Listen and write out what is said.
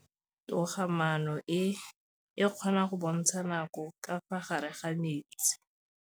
Toga-maanô e, e kgona go bontsha nakô ka fa gare ga metsi.